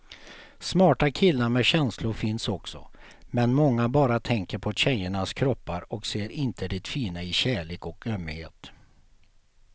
Smarta killar med känslor finns också, men många bara tänker på tjejernas kroppar och ser inte det fina i kärlek och ömhet.